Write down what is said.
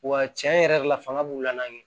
Wa cɛn yɛrɛ de la fanga b'u la ɲɛ